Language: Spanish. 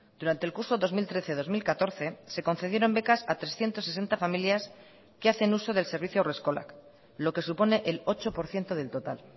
durante el curso dos mil trece dos mil catorce se concedieron becas a trescientos sesenta familias que hacen uso del servicio haurreskolak lo que supone el ocho por ciento del total